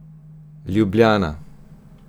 Ljubljana.